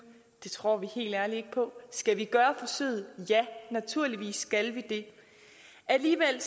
det tror vi helt ærligt ikke på skal vi gøre forsøget ja naturligvis skal vi det alligevel